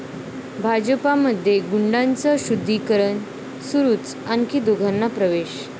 भाजपमध्ये गुंडांचं शुद्धीकरण सुरूच, आणखी दोघांना प्रवेश